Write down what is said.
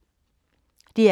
DR K